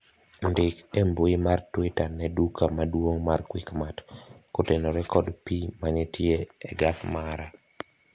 ndik e mbui mar twita ne duka maduong' mar quickmart kotenore kod pii manitie a gas mara